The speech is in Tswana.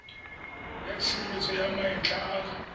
ya tshireletso ya maetla a